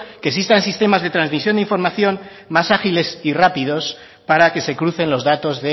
que existan sistemas de transmisión de información más agiles y rápidos para que se crucen los datos